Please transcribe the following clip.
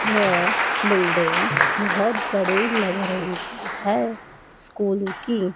यह बिल्डिंग बहुत बड़े लग रही है स्कूल की--